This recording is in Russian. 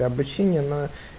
обучение на